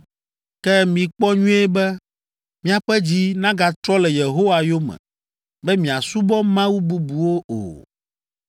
“Ke mikpɔ nyuie be miaƒe dzi nagatrɔ le Yehowa yome be miasubɔ mawu bubuwo o.